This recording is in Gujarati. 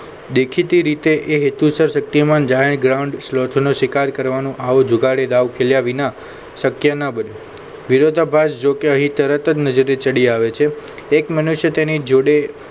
દેખીતી રીતે એ હેતુસર શક્તિમાન જાણે ગ્રાન્ટનો શિકાર કરવાનું આવો જુગારી દાવ ખેલ્યા વિના શક્ય ન બને વિરોધાભાસ જોકે અહીં તરત જ નજરે ચડી આવે છે એક મનુષ્ય તેની જોડે